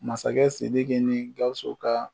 Masakɛ Sidiki ni Gawusu ka